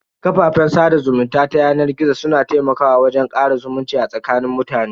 Kafafen sada zumunta ta yanar gizo su na taimakawa wajen kara zumunci a tsakanin mutane.